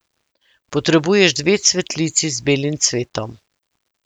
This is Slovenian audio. Potrebuješ dve cvetlici z belim cvetom.